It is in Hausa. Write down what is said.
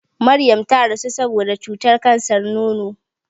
Maryam ta rasu saboda cutar kansar nono.